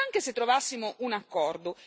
E questo, francamente, è inaccettabile.